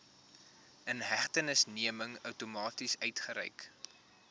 inhegtenisneming outomaties uitgereik